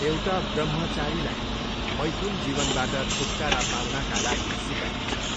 एउटा ब्रम्हचारीलाई मैथुन जीवनबाट छुटकारा पाउनाका लागि सिकाइन्छ।